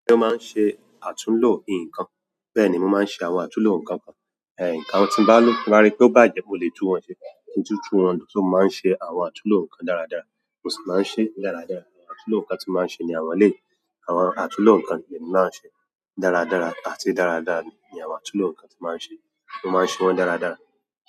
Èmi máa ń ṣe àtúnlò nǹkan. Bẹ́ẹ̀ ni mo máa ń ṣe àwọn àtúnlò nǹkan kan. Ẹ̀ǹkan tí bá ló rárí tó bàjẹ́ mo lè tún wọn ṣe. Títún wọn tún máa ń ṣe àwọn àtúnlò nǹkan dáradára. Mo sì máa ń ṣe dáradára. Àwọn àtúnlò nǹkan tí mò ń ṣe ní àwọn lé. Àwọn àtúnlò nǹkan ni mo máa ń ṣe dáradára àti dáradára ni àwọn àtúnlò nǹkan tí mò ń ṣe. Mo máa ń ṣe wọ́n dáradára.